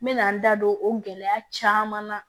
N mɛna n da don o gɛlɛya caman na